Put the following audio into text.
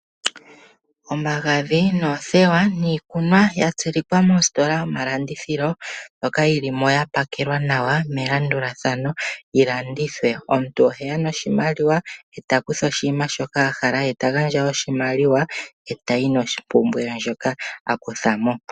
Omagadhi noothewa niikunwa yatsilikwa mositola yomalandithilo mbyoka yilimo yapakelwa nawa melandulathano yilandithwe. Omuntu oheya noshimaliwa eta kutha oshinima shoka ahala ye tagandja oshimaliwa etayi noshipumbiwa she shoka akuthamo.